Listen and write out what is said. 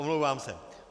Omlouvám se.